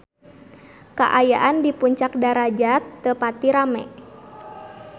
Kaayaan di Puncak Darajat teu pati rame